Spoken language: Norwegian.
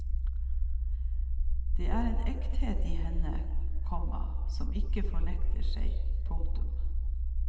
Det er en ekthet i henne, komma som ikke fornekter seg. punktum